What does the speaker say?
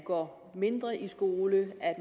går mindre i skole at